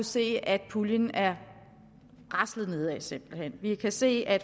se at puljen er raslet nedad simpelt hen vi kan se at